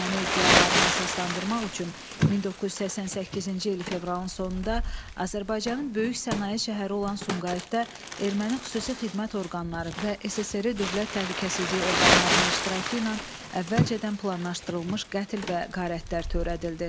Erməni iddialarını əsaslandırmaq üçün 1988-ci il fevralın sonunda Azərbaycanın böyük sənaye şəhəri olan Sumqayıtda erməni xüsusi xidmət orqanları və SSRİ dövlət təhlükəsizliyi orqanlarının iştirakı ilə əvvəlcədən planlaşdırılmış qətl və qarətlər törədildi.